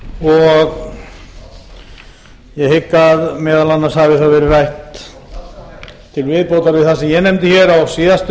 og ég hygg að meðal annars hafi það verið rætt til viðbótar við það sem ég nefndi hér á síðasta